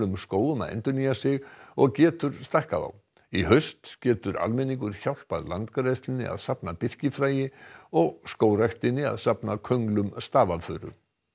skógum að endurnýja sig og getur stækkað þá í haust getur almenningur hjálpað Landgræðslunni að safna birkifræi og Skógræktinni að safna könglum stafafuru